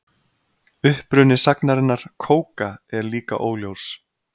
Uppruni sagnarinnar kóka er líka óljós.